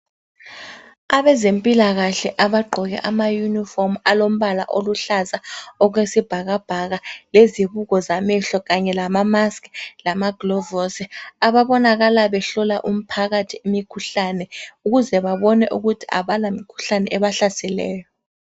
Abezempilakahle abagqoke amayunifomu alombala oluhlaza okwesibhakabhaka lezibuko zamehlo kanye lamamaski lamaglovosi ababonakala behlola umphakathi imikhuhlane ukuze babone ukuthi abalamkhuhlane ebahlaseleyo.